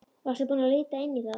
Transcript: Varstu búinn að líta inn í það?